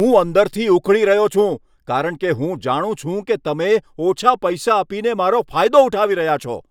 હું અંદરથી ઊકળી રહ્યો છું, કારણ કે હું જાણું છું કે તમે ઓછા પૈસા આપીને મારો ફાયદો ઉઠાવી રહ્યા છો.